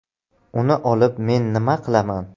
Uni olib men nima qilaman?